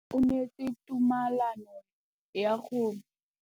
O neetswe tumalanô ya go tsaya loetô la go ya kwa China.